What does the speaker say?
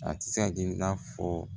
A tɛ se ka kɛ i n'a fɔ